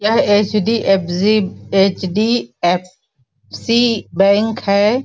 यह HDFC HDFC bank हैं।